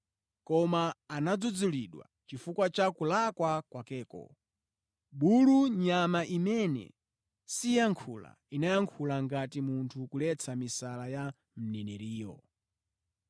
Koma anadzudzulidwa chifukwa cha kulakwa kwakeko. Bulu, nyama imene siyankhula, inayankhula ngati munthu kuletsa misala ya mneneriyo.